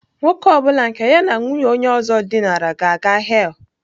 Nwoke ọ bụla nke ya na nwunye onye ọzọ dinara ga-aga hell.